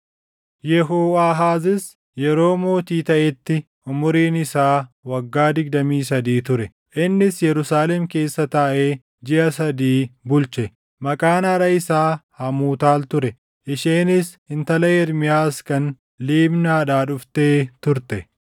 Yehooʼaahaazis yeroo mootii taʼetti umuriin isaa waggaa digdamii sadii ture; innis Yerusaalem keessa taaʼee jiʼa sadii bulche. Maqaan haadha isaa Hamuutaal ture; isheenis intala Ermiyaas kan Libnaadhaa dhuftee turte.